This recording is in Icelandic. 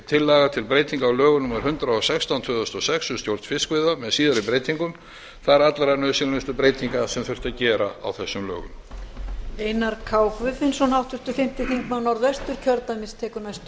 tillaga til breytinga á lögum númer hundrað og sextán tvö þúsund og sex um stjórn fiskveiða með síðari breytingum það eru allra nauðsynlegustu breytingar sem þurfti að gera á þessum lögum